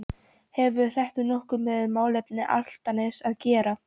Hefur þetta nokkuð með málefni Álftaness að gera?